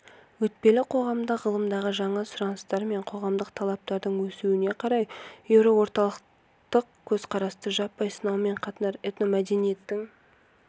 өтпелі қоғамда ғылымдағы жаңа сұраныстар мен қоғамдық талаптардың өсуіне қарай еуроорталықтық көзқарасты жаппай сынаумен қатар этномәдениеттің